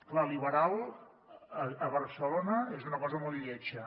clar liberal a barcelona és una cosa molt lletja